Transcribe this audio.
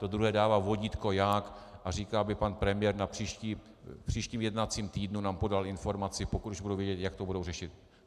To druhé dává vodítko jak a říká, aby pan premiér v příštím jednacím týdnu nám podal informaci, pokud už budou vědět, jak to budou řešit.